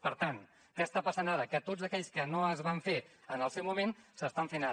per tant què està passant ara que tots aquells que no es van fer en el seu moment s’estan fent ara